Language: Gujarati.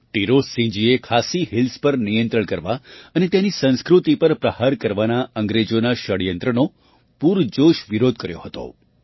ટિરોતસિંહજીએ ખાસી હિલ્સ ખસી હિલ્સ પર નિયંત્રણ કરવા અને ત્યાંની સંસ્કૃતિ પર પ્રહાર કરવાના અંગ્રેજોના ષડયંત્રનો પૂરજોશ વિરોધ કર્યો હતો